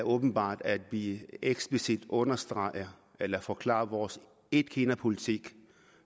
åbenbart at vi eksplicit understregede eller forklarede vores etkinapolitik